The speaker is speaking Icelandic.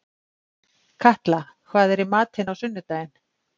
Katla, hvað er í matinn á sunnudaginn?